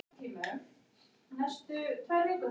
Ertu búinn að vera í fríi síðustu sex mánuði?